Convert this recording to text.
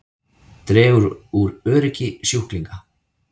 Dregur úr öryggi sjúklinga